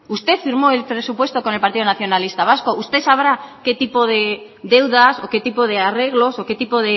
usted firmó el presupuesto con el partido nacionalista vasco usted sabrá qué tipo de deudas o qué tipo de arreglos o qué tipo